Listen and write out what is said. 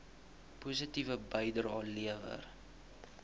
positiewe bydrae lewer